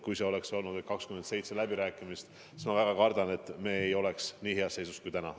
Kui oleks olnud läbirääkimised 27 riigiga, siis kardetavasti me ei oleks nii heas seisus kui täna.